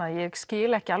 að ég skil ekki